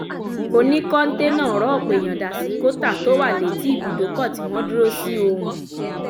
ó ní kọ́ńté náà rọ ọ̀pọ̀ èèyàn dà sí kótà tó wà létí ibùdókọ̀ tí wọ́n dúró sí ohùn